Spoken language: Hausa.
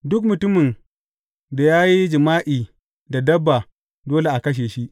Duk mutumin da ya yi jima’i da dabba dole a kashe shi.